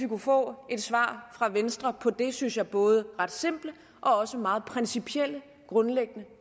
kunne få et svar fra venstre på det synes jeg både ret simple og også meget principielle grundlæggende